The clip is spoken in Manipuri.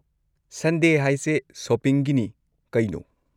ꯁꯟꯗꯦ ꯍꯥꯏꯁꯦ ꯁꯣꯄꯤꯡꯒꯤꯅꯤ ꯀꯩꯅꯣ?